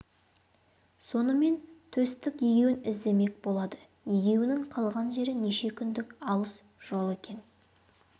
сонымен төстік егеуін іздемек болады егеуінің қалған жері неше күндік алыс жол екен